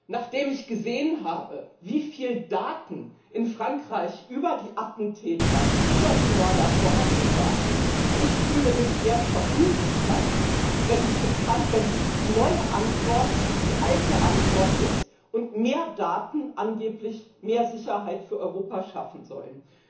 Nachdem ich gesehen habe, wie viele Daten in Frankreich über die Attentäter, die Mörder vorhanden waren, fühle ich mich eher verunsichert, wenn die neue Antwort die alte Antwort ist und mehr Daten angeblich mehr Sicherheit für Europa schaffen sollen.